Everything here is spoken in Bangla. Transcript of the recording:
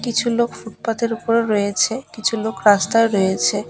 কিছুলোক ফুটপাথ -এর উপর রয়েছে কিছুলোক রাস্তায় রয়েছে